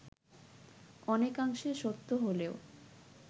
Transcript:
অনেকাংশে সত্য হলেও